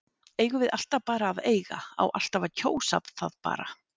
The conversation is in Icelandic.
Eigum við alltaf bara að eiga, á alltaf að kjósa það bara?